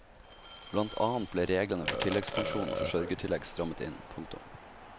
Blant annet ble reglene for tilleggspensjon og forsørgertillegg strammet inn. punktum